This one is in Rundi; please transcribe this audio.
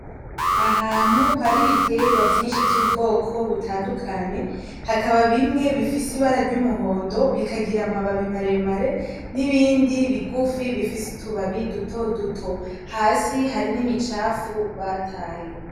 Ahantu hari ibitegwa vyinshi vy'ubwoko butandukanye hakaba bimwe bifise ibara ry'umuhondo bikagira amababi maremare n'ibindi bigufi bifise utubabi dutoduto hasi hari n'imicafu bataye.